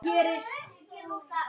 Lára: Hver eru næstu skerf?